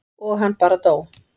og hann bara dó.